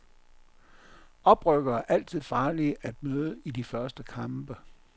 Oprykkere er altid farlige at møde i de første kampe.